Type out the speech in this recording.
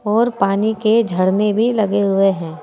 और पानी के झरने भी लगे हुए हैं।